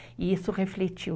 E isso refletiu.